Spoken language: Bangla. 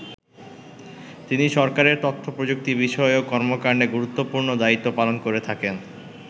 তিনি সরকারের তথ্য প্রযুক্তি বিষয়ক কর্মকান্ডে গুরুত্বপূর্ণ দায়িত্ব পালন করে থাকেন।